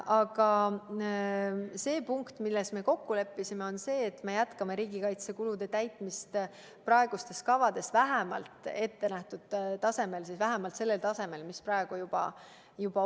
Aga punkt, milles me kokku leppisime, on see, et me jätkame riigikaitsekulude katmist vähemalt kavades ettenähtud tasemel – vähemalt sellel tasemel, mis praegu juba on.